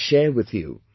I will share with you